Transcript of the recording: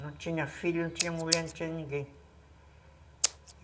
Não tinha filho, não tinha mulher, não tinha ninguém.